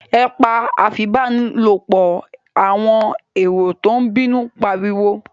Ẹ pa afipábánilòpọ̀! àwọn èrò tó ń bínú ń pariwo.